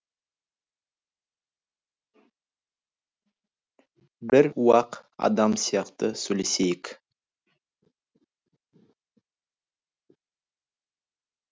бір уақ адам сияқты сөйлесейік